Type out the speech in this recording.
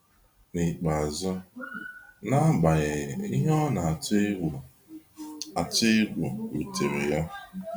N’ikpeazụ, n'agbanyeghị ihe ọ na atụ egwu atụ egwu rutere ya.